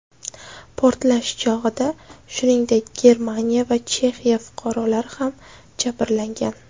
Portlash chog‘ida, shuningdek, Germaniya va Chexiya fuqarolari ham jabrlangan.